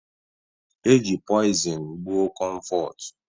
E ji poizin gbuọ Komfotu.